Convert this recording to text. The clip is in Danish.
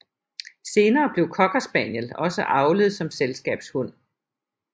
Senere blev cocker spaniel også avlet som selskabshund